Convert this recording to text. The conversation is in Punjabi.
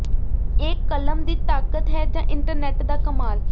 ਇਹ ਕਲਮ ਦੀ ਤਾਕਤ ਹੈ ਜਾਂ ਇੰਟਰਨੈੱਟ ਦਾ ਕਮਾਲ